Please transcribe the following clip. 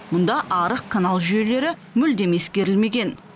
мұнда арық канал жүйелері мүлдем ескерілмеген